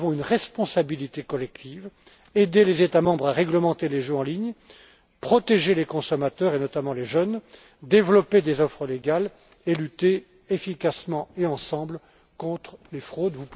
Nous avons une responsabilité collective aider les États membres à réglementer les jeux en ligne, protéger les consommateurs, et notamment les jeunes, développer des offres légales et lutter efficacement et ensemble contre les fraudes.